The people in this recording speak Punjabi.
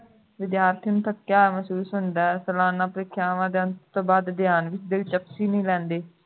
ਵਿਦਿਆਰਥੀਆਂ ਨੂੰ ਠੱਗਿਆ ਹੋਇਆ ਮਹਿਸੂਸ ਹੁੰਦਾ ਹੈ ਸਾਲਾਨਾ ਪ੍ਰੀਖਿਆਵਾਂ ਦੇ ਅੰਤ ਤੋਂ ਬਾਅਦ ਪਿਆਰ ਵਿਚ ਦਿਲਚਸਪੀ ਨਹੀਂ ਰਹਿੰਦੀ